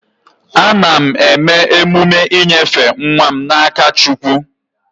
Ana m eme emume inyefe nwa m na-aka Chukwu.